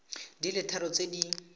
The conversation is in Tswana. di le tharo tse di